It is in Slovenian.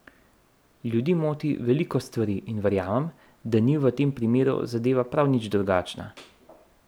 Ljudi moti veliko stvari in verjamem, da ni v tem primeru zadeva prav nič drugačna.